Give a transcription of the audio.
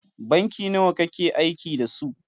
Banki nawa kakeaiki da su?